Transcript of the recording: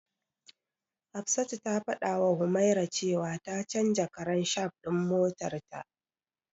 Hafsatu ta fadawa Humaira cewa ta canja karan shaf din motarta.